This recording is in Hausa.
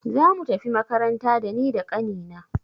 Zamu tafi makaranta da ni da ƙani na.